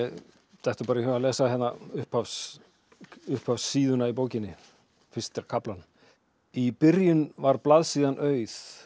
dettur í hug að lesa upphafssíðuna upphafssíðuna í bókinni fyrsta kaflan í byrjun var blaðsíðan auð